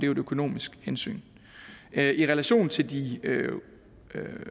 jo et økonomisk hensyn i relation til de